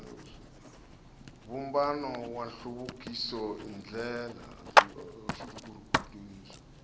vumbano wa nhluvukiso i ndlela